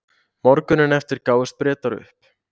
morguninn eftir gáfust bretar upp